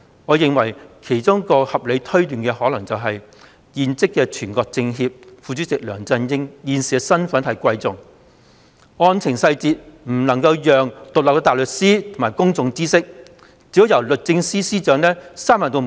我認為，其中一項合理推斷，是現任全國政協副主席梁振英現時身份尊貴，因此案件細節不能讓獨立的大律師或公眾知悉，只可由律政司司長閉門作決定。